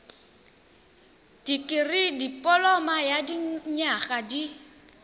dikirii dipoloma ya dinyaga di